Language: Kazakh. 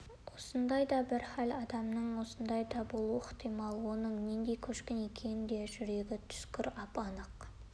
осындай бір хал адамның басында да болуы ықтимал оның нендей көшкін екенін де жүрегі түскір ап-анық